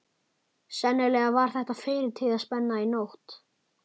Sennilega var þetta fyrirtíðaspenna í nótt.